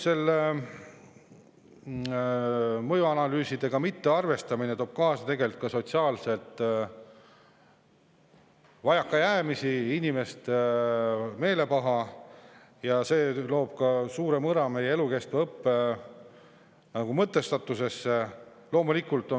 Mõjuanalüüsidega mittearvestamine toob kaasa ka sotsiaalseid vajakajäämisi ja inimeste meelepaha ning see lööb suure mõra meie elukestva õppe mõtestatusesse.